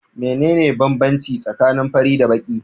Mene ne banbanci tsakanin fari da baki?